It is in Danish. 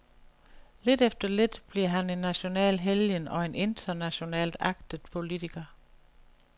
Lidt efter lidt bliver han en national helgen og en internationalt agtet politiker.